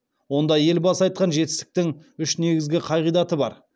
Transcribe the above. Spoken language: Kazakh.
онда елбасы айтқан жетістіктің үш негізгі қағидаты бар